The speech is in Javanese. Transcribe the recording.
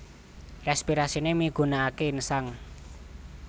Respirasiné migunakaké insang